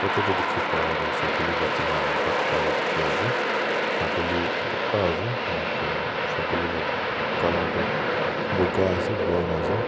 photo tae dikhi patoh sakuli bacha khan bhat khala dikhiase sakuli borta ase ena kurina sakuli la colour tu buka ase brown ase.